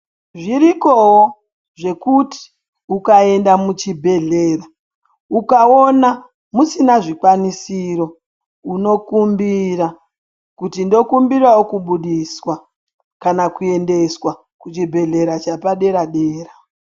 Zvirikowo zvekuti ukaenda kuchibhehlera ukawona musina zvikwanisiro unokumbira kuti ndokumbirawo kubudiswa kana kuti ndokumbirawo kuendeswa kuchibhehlera chepadera dera